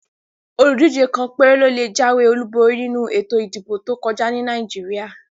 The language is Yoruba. Oludije kàn péré ló lè jáwé Olu borí nínú ètò ìdìbò tó kọjá ní Nàìjíríà